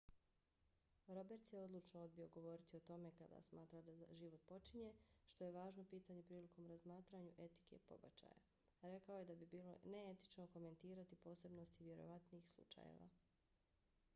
roberts je odlučno odbio govoriti o tome kada smatra da život počinje što je važno pitanje prilikom razmatranju etike pobačaja. rekao je da bi bilo neetično komentirati posebnosti vjerovatnih slučajeva